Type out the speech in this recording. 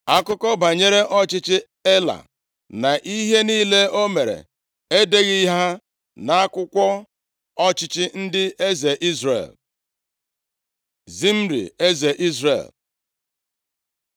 Akụkọ banyere ọchịchị Ela, na ihe niile o mere e deghị ha nʼakwụkwọ ọchịchị ndị eze Izrel? Zimri, eze Izrel